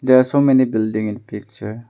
There so many building in picture.